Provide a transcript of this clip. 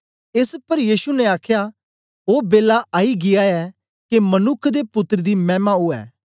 एस पर यीशु ने आखया ओ बेलै आई गीया ऐ के मनुक्ख दे पुत्तर दी मैमा उवै